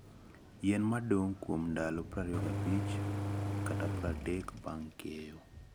Yien ma dong' kuom ndalo 25-30 bang' keyo - Yien ma nyago: tani 10 - 14 e eka Bloomsdale